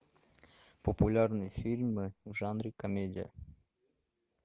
популярные фильмы в жанре комедия